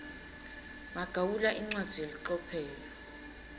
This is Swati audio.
magawula incwadzi yelicophelo